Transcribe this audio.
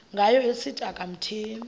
ngayo esithi akamthembi